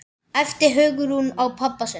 æpti Hugrún á pabba sinn.